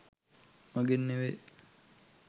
මගෙන් නෙවෙයි.